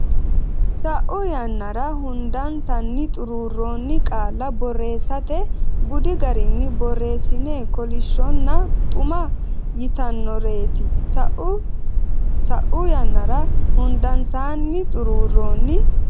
sa u yannara Hundansaanni xuruurronni qaalla borreessate budi garinni borreessine kolishshonna xuma yitannoreeti sa u sa u yannara Hundansaanni xuruurronni.